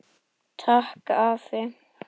Takk, afi.